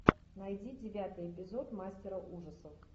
найди девятый эпизод мастера ужасов